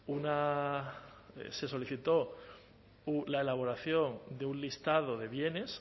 una se solicitó la elaboración de un listado de bienes